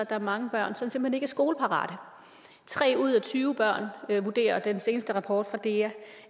er mange børn som simpelt er skoleparate tre ud af tyve børn der vurderer den seneste rapport fra dea